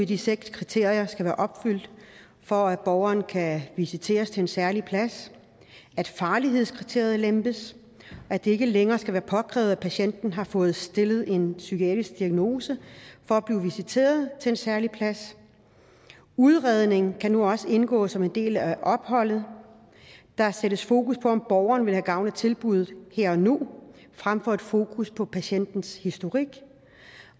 de seks kriterier skal være opfyldt for at borgeren kan visiteres til en særlig plads at farlighedskriteriet lempes at det ikke længere skal være påkrævet at patienten har fået stillet en psykiatrisk diagnose for at blive visiteret til en særlig plads udredning kan nu også indgå som en del af opholdet der sættes fokus på om borgeren ville have gavn af tilbuddet her og nu frem for et fokus på patientens historik